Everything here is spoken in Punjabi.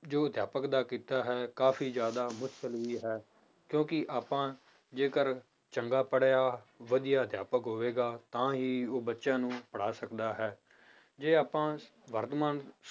ਜੋ ਅਧਿਆਪਕ ਦਾ ਕਿੱਤਾ ਹੈ ਕਾਫ਼ੀ ਜ਼ਿਆਦਾ ਮੁਸ਼ਕਲ ਵੀ ਹੈ, ਕਿਉਂਕਿ ਆਪਾਂ ਜੇਕਰ ਚੰਗਾ ਪੜ੍ਹਿਆ ਵਧੀਆ ਅਧਿਆਪਕ ਹੋਵੇਗਾ ਤਾਂ ਹੀ ਉਹ ਬੱਚਿਆਂ ਨੂੰ ਪੜ੍ਹਾ ਸਕਦਾ ਹੈ, ਜੇ ਆਪਾਂ ਵਰਤਮਾਨ